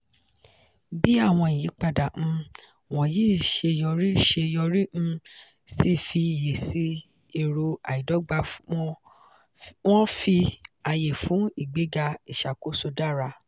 bí àwọn ìyípadà um wọ̀nyí ṣe yọrí ṣe yọrí um sí ìfiyèsí èrò àìdọ́gba wọ́n fi àyè fún ìgbéga ìṣàkóso dára.